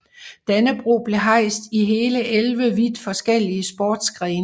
Dannebrog blev hejst i hele 11 vidt forskellige sportsgrene